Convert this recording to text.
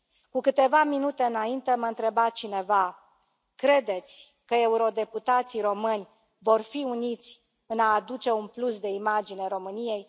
Cu câteva minute înainte mă întreba cineva Credeți că eurodeputații români vor fi uniți în a aduce un plus de imagine României?